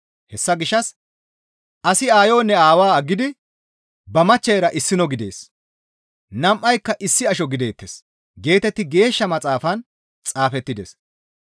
Hessa gishshas, «Asi aayonne aawa aggidi ba machcheyra issino gidees; nam7ayka issi asho gideettes» geetetti Geeshsha Maxaafan xaafettides.